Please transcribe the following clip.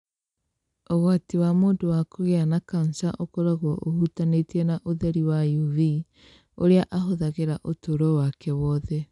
Ũgwati wa mũndũ wa kũgĩa na kansa ũkoragwo ũhutanĩtie na ũtheri wa UV ũrĩa ahũthagĩra ũtũũro wake wothe.